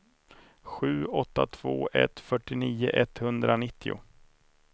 sju åtta två ett fyrtionio etthundranittio